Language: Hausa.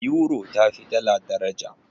Yuro tafi dala daraja.